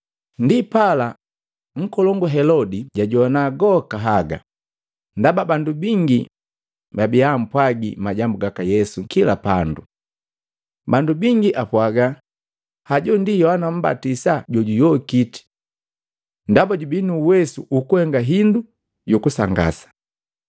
Ndipala, nkolongu Helodi jajohana goka haga, ndaba bandu bingi babia apwaga majambu gaka Yesu kila pandu. Bandu bangi apwaga, “Hajo ndi Yohana Mmbatisa juyokiti! Ndaba jubii nu uwesu ukuhenga hindu yu kusangasa.”